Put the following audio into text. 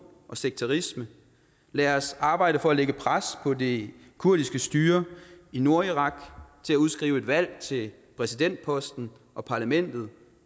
og sekterisme lad os arbejde for at lægge pres på det kurdiske styre i nordirak til at udskrive et valg til præsidentposten og parlamentet